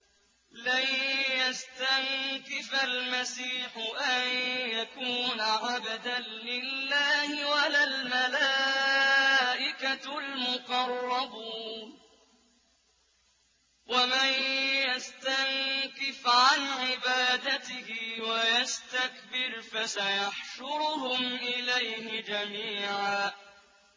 لَّن يَسْتَنكِفَ الْمَسِيحُ أَن يَكُونَ عَبْدًا لِّلَّهِ وَلَا الْمَلَائِكَةُ الْمُقَرَّبُونَ ۚ وَمَن يَسْتَنكِفْ عَنْ عِبَادَتِهِ وَيَسْتَكْبِرْ فَسَيَحْشُرُهُمْ إِلَيْهِ جَمِيعًا